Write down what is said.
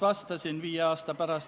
Otsus on vastu võetud.